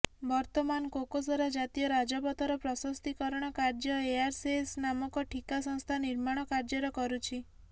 ବର୍ତ୍ତମାନ କୋକସରା ଜାତୀୟ ରାଜପଥର ପ୍ରସସ୍ତୀକରଣ କାର୍ଯ୍ୟ ଏଆର୍ଏସ୍ଏସ୍ ନାମକ ଠିକା ସଂସ୍ଥା ନିର୍ମାଣ କାଯ୍ୟର୍ କରୁଛି